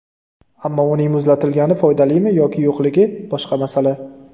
Ammo uning muzlatilgani foydalimi yoki yo‘qligi boshqa masala.